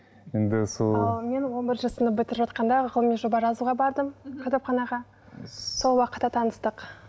енді сол ал мен он бірінші сынып бітіріп жатқанда ғылыми жоба жазуға бардым кітапханаға сол уақытта таныстық